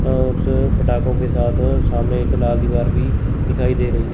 अह उस पटाखों के साथ सामने एक लाल दीवार भी दिखाई दे रही है।